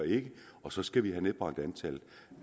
og så skal vi have nedbragt antallet